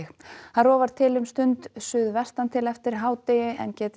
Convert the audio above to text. rofar til um stund suðvestantil eftir hádegi en